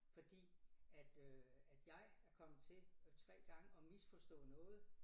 Fordi at øh at jeg er kommet til øh 3 gange at misforstå noget